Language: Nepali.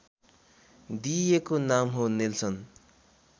दिइएको नाम हो नेल्सन